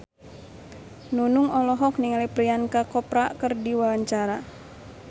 Nunung olohok ningali Priyanka Chopra keur diwawancara